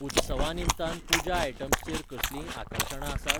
उत्सवां निमतान पूजा आयटम्स चेर कसलींय आकर्शणां आसात ?